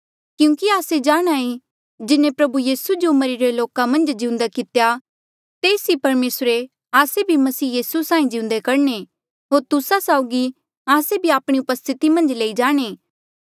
क्यूंकि आस्से जाणहां ऐें जिन्हें प्रभु यीसू जो मरिरे लोका मन्झ जिउंदा कितेया से ही परमेसर आस्से भी मसीह यीसू साहीं जिउंदे करणे होर तुस्सा साउगी आस्से भी आपणे उपस्थिति मन्झ लेई जाणे